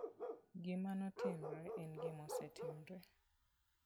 Gima notimore en gima osetimore.